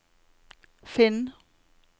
finn